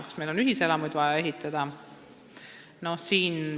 Kas meil on vaja ühiselamuid ehitada?